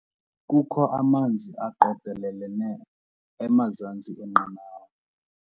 Kukho amanzi aqokelelene emazantsi enqanawa.